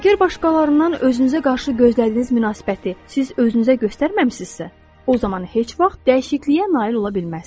Əgər başqalarından özünüzə qarşı gözlədiyiniz münasibəti siz özünüzə göstərməmisinizsə, o zaman heç vaxt dəyişikliyə nail ola bilməzsiniz.